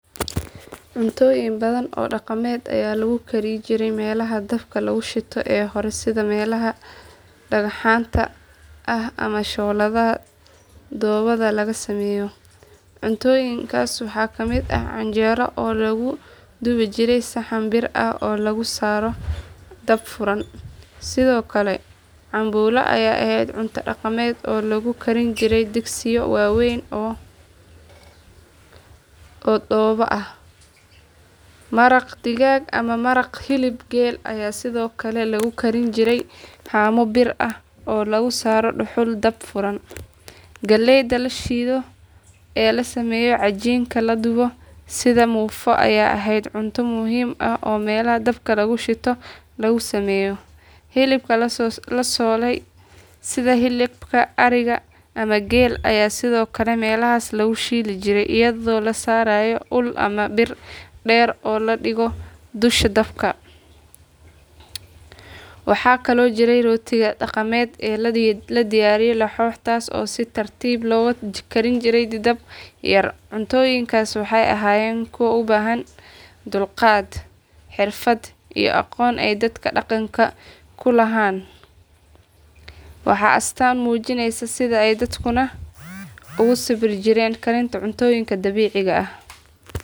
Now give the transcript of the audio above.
Cuntooyin badan oo dhaqameed ayaa lagu kari jiray meelaha dabka lagu shito ee hore sida meelaha dhagaxaanta ah ama shooladaha dhoobada laga sameeyo. Cuntooyinkaas waxaa ka mid ah canjeero oo lagu dubi jiray saxan bir ah oo lagu saaro dab furan. Sidoo kale, cambuulo ayaa ahayd cunto dhaqameed oo lagu karin jiray digsiyo waaweyn oo dhoobo ah. Maraq digaag ama maraq hilib geel ayaa sidoo kale lagu karin jiray haamo bir ah oo lagu saaro dhuxul dab furan. Galeyda la shiido ee la sameeyo cajiinka la dubo sida muufo ayaa ahayd cunto muhiim ah oo meelaha dabka lagu shito lagu sameeyo. Hilibka la solay sida hilib ari ama geel ayaa sidoo kale meelahaas lagu shiili jiray iyadoo la saarayo ul ama bir dheer oo la dhigo dusha dabka. Waxaa kaloo jiray rootiga dhaqameed ee la yiraahdo laxoox taas oo si tartiib ah loogu karin jiray dab yar. Cuntooyinkaas waxay ahaayeen kuwa u baahan dulqaad, xirfad iyo aqoon ay dadka dhaqanka u lahaaaan, waana astaan muujinaysa sida ay dadkeennu ugu sabri jireen karinta cuntooyinka dabiiciga ah.